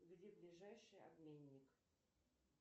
где ближайший обменник